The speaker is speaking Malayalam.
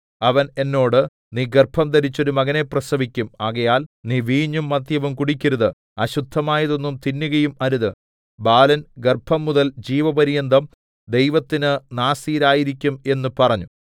അവൻ എന്നോട് നീ ഗർഭംധരിച്ച് ഒരു മകനെ പ്രസവിക്കും ആകയാൽ നീ വീഞ്ഞും മദ്യവും കുടിക്കരുത് അശുദ്ധമായതൊന്നും തിന്നുകയും അരുത് ബാലൻ ഗർഭംമുതൽ ജീവപര്യന്തം ദൈവത്തിന് നാസീരായിരിക്കും എന്ന് പറഞ്ഞു